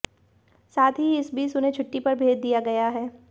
साथ ही इस बीच उन्हें छुट्टी पर भेज दिया गया है